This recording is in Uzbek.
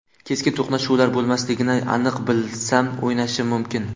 Keskin to‘qnashuvlar bo‘lmasligini aniq bilsam, o‘ynashim mumkin.